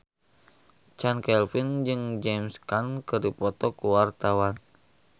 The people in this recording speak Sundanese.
Chand Kelvin jeung James Caan keur dipoto ku wartawan